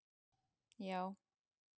já.